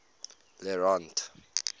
le rond d